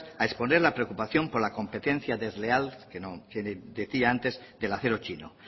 a exponer la preocupación por la competencia desleal que decía antes del acero chino